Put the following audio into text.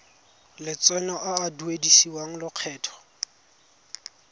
lotseno a a duedisiwang lokgetho